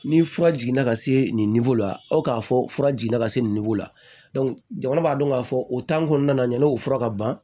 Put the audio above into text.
Ni fura jiginna ka se nin la aw k'a fɔ fura jiginna ka se la jamana b'a dɔn k'a fɔ o kɔnɔna na yanni o fura ka ban